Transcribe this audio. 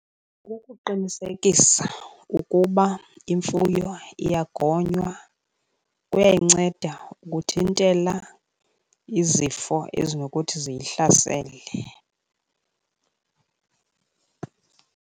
Kukuqinisekisa ukuba imfuyo iyagonywa, kuyayinceda ukuthintela izifo ezinokuthi ziyihlasele.